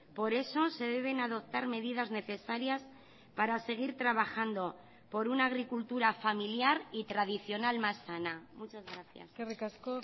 por eso se deben adoptar medidas necesarias para seguir trabajando por una agricultura familiar y tradicional más sana muchas gracias eskerrik asko